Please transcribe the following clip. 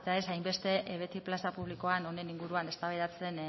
ez hain beste beti plaza publikoan honen inguruan eztabaidatzen